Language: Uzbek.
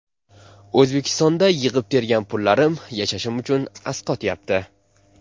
O‘zbekistonda yig‘ib-tergan pullarim yashashim uchun asqatyapti.